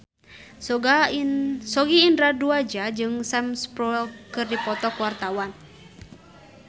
Sogi Indra Duaja jeung Sam Spruell keur dipoto ku wartawan